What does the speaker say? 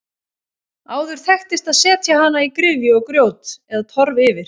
Áður þekktist að setja hana í gryfju og grjót eða torf yfir.